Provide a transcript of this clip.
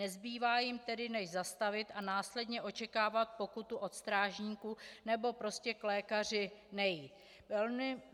Nezbývá jim tedy než zastavit a následně očekávat pokutu od strážníků, nebo prostě k lékaři nejít.